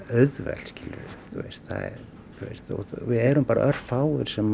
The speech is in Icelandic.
auðvelt þú veist við erum bara örfáir sem